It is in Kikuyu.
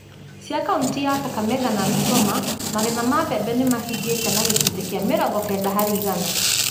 cia kauntĩ ya Kakamega na Bungoma, magetha ma mbembe nĩ mahingĩte na gĩcunjĩ kĩa mĩrongo kenda harĩ igana.